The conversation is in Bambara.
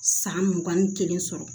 San mugan ni kelen sɔrɔ